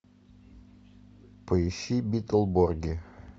поищи битлборги